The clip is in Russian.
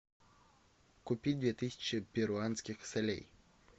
купить две тысячи перуанских солей